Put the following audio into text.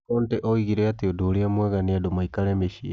Conte oigire atĩ ũndũ ũrĩa mwega nĩ andũ maikare mĩciĩ.